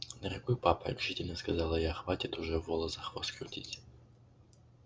дорогой папа решительно сказала я хватит уже вола за хвост крутить